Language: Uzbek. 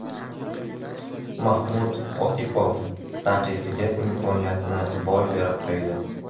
Mahmud G‘oipov raqibiga imkoniyatni boy berib qo‘ydi.